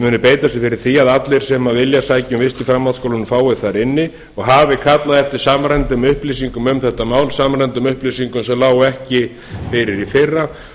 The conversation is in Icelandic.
muni beita sér fyrir því að allir sem vilja sækja um vist í framhaldsskólanum fái þar inni og hafi kallað eftir samræmdum upplýsingum um þetta mál samræmdum upplýsingum sem lágu ekki fyrir í fyrra